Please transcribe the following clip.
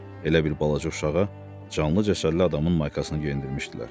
Elə bil balaca uşağa canlı cəsərli adamın maykasını geyindirmişdilər.